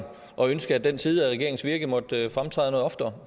og ønske at den side af regeringens virke måtte fremtræde noget oftere